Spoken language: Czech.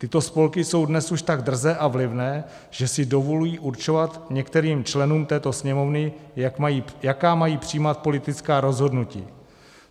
Tyto spolky jsou dnes už tak drzé a vlivné, že si dovolují určovat některým členům této Sněmovny, jaká mají přijímat politická rozhodnutí.